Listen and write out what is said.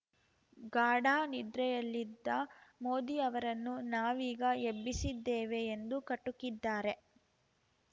ಗಾಢ ನಿದ್ರೆಯಲ್ಲಿದ್ದ ಮೋದಿ ಅವರನ್ನು ನಾವೀಗ ಎಬ್ಬಿಸಿದ್ದೇವೆ ಎಂದು ಕಟುಕಿದ್ದಾರೆ